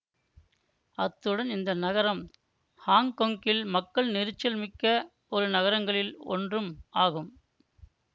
அத்துடன் இந்த நகரம் ஹாங்கொங்கில் மக்கள் நெரிசல் மிக்க நகரங்களில் ஒன்றும் ஆகும்